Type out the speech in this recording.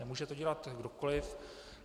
Nemůže to dělat kdokoliv.